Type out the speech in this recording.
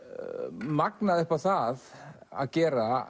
magnað upp á það að gera